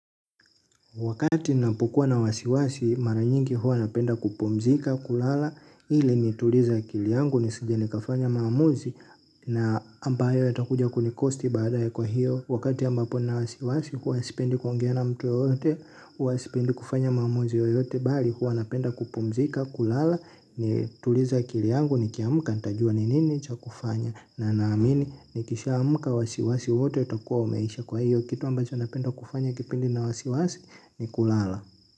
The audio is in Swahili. Wakati napokua na wasiwasi mara nyingi huwa napenda kupumzika kulala hili nitulize akili yangu nisije nikafanya maamuzi na ambayo yatakuja kunikosti baada ya kwa hiyo wakati ambapo nina wasiwasi huwa sipendi kuongea na mtu yoyote huwa sipendi kufanya maamuzi yoyote bali huwa napenda kupumzika kulala nitulize akili yangu nikiamka nitajua ni nini cha kufanya na naamini nikishaamka wasiwasi wote utakuwa umeisha kwa hiyo kitu ambacho napenda kufanya kipindi nina wasiwasi. Nikulala.